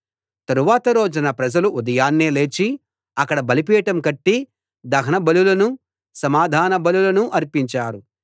తరువాత రోజున ప్రజలు ఉదయాన్నే లేచి అక్కడ బలిపీఠం కట్టి దహన బలులనూ సమాధాన బలులనూ అర్పించారు